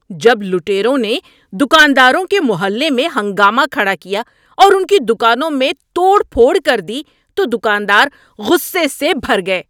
جب لٹیروں نے دکانداروں کے محلے میں ہنگامہ کھڑا کیا اور ان کی دکانوں میں توڑ پھوڑ کر دی تو دکاندار غصے سے بھر گئے۔